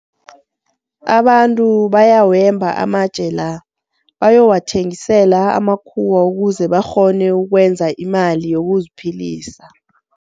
Abantu bayawemba amatje la bayowathengisela amakhuwa ukuze bakghone ukwenza imali yokuziphilisa.